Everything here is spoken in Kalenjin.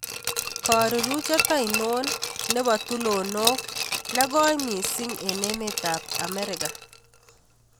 Karuruchet ainon nebo tulonook negoi miising' eng' emetap Amerika